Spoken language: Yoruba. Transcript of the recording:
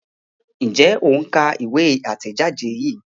Njé o ń ká ìwé itẹjade yí?